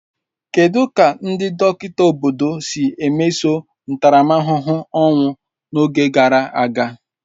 kedụ ka ndị dọkịta obodo si mesoo ntaramahụhụ ọnwụ n'oge gara aga?